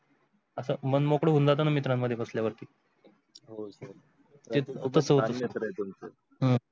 असं मनमोकळं जाताना मित्रां मध्ये बसल्या वरती. हम्म